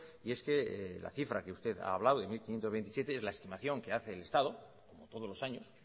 y es que la cifra que usted ha hablado de mil quinientos veintisiete es la estimación que hace el estado como todos los años